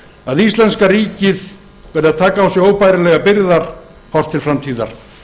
að íslenska ríkið verður að taka á sig óbærilegar byrðar horft til framtíðar